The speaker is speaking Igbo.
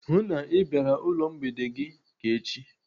Hụụ na Ị bịara ụlọ mgbede gị ka echi!